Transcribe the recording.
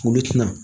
Olu tɛna